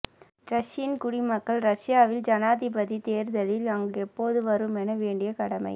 Russian குடிமக்கள் ரஷ்யாவில் ஜனாதிபதி தேர்தலில் அங்கு எப்போது வருமென வேண்டிய கடமை